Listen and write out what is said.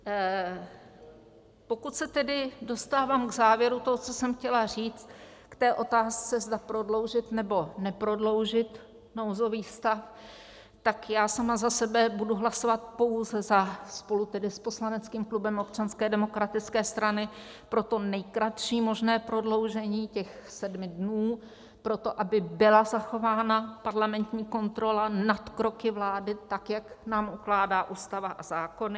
Pokud se tedy dostávám k závěru toho, co jsem chtěla říct, k té otázce, zda prodloužit, nebo neprodloužit nouzový stav, tak já sama za sebe budu hlasovat pouze - spolu tedy s poslaneckým klubem Občanské demokratické strany - pro to nejkratší možné prodloužení, těch sedmi dnů pro to, aby byla zachována parlamentní kontrola nad kroky vlády, tak jak nám ukládá Ústava a zákony.